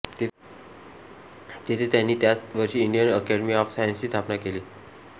तेथे त्यांनी त्याच वर्षी इंडियन अकॅडमी ऑफ सायन्सेसची स्थापना केली